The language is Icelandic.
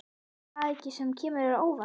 Er það eitthvað sem kemur þér á óvart?